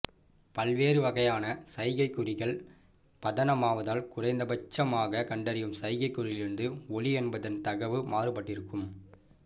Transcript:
பல்வேறு வகையான சைகைக் குறிகள் பதனமாவதால் குறைந்த பட்சமாக கண்டறியும் சைகைக் குறியிலிருந்து ஒலி என்பதன் தகவு மாறுபட்டிருக்கும்